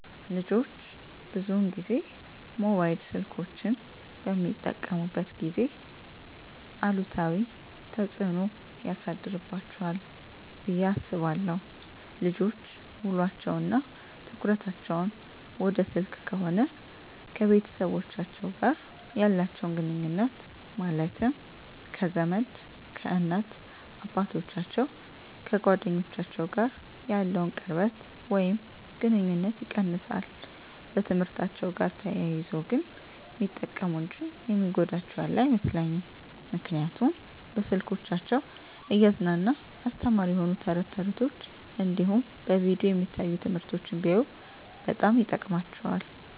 ልጆች ብዙን ጊዜ ሞባይል ስልኮችን በሚጠቀሙበት ጊዜ አሉታዊ ተፅዕኖ ያሳድርባቸዋል ብየ አስባለው ልጆች ውሎቸው እና ትኩረታቸውን ወደ ስልክ ከሆነ ከቤተሰቦቻቸው ጋር ያላቸውን ግኑኙነት ማለትም ከዘመድ፣ ከእናት አባቶቻቸው፣ ከጓደኞቻቸው ጋር ያለውን ቅርበት ወይም ግኑኝነት ይቀንሳል። በትምህርትአቸው ጋር ተያይዞ ግን ሚጠቀሙ እንጂ የሚጎዳቸው ያለ አይመስለኝም ምክንያቱም በስልኮቻቸው እያዝናና አስተማሪ የሆኑ ተረት ተረቶች እንዲሁም በቪዲዮ የሚታዩ ትምህርቶችን ቢያዩ በጣም ይጠቅማቸዋል።